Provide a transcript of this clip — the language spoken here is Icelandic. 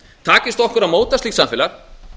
takist okkur að móta slíkt samfélag